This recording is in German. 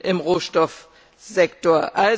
im Rohstoffsektor.